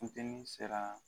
Funteni sera